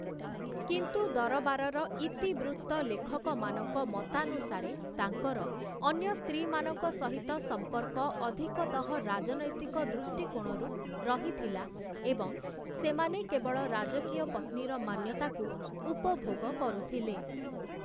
କିନ୍ତୁ ଦରବାରର ଇତିବୃତ୍ତଲେଖକମାନଙ୍କ ମତାନୁସାରେ ତାଙ୍କର, ଅନ୍ୟ ସ୍ତ୍ରୀମାନଙ୍କ ସହିତ ସମ୍ପର୍କ ଅଧିକତଃ ରାଜନୈତିକ ଦୃଷ୍ଟିକୋଣରୁ ରହିଥିଲା ଏବଂ ସେମାନେ କେବଳ ରାଜକୀୟ ପତ୍ନୀର ମାନ୍ୟତାକୁ ଉପଭୋଗ କରୁଥିଲେ ।